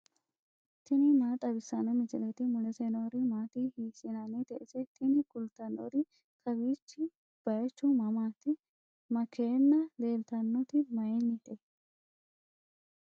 tini maa xawissanno misileeti ? mulese noori maati ? hiissinannite ise ? tini kultannori kawiichi baychu mamati makeenna leeltannoti mayinnite